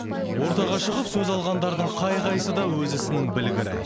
ортаға шығып сөз алғандардың қай қайсы да өз ісінің білгірі ай